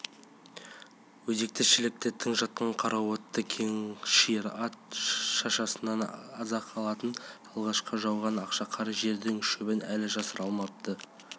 өзекті-шілікті тың жатқан қара отты кең шиыр ат шашасынан аз-ақ асатын алғашқы жауған ақша қар жердің шөбін әлі жасыра алмапты